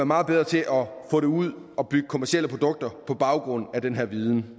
meget bedre til at få den ud og bygge kommercielle produkter på baggrund af den her viden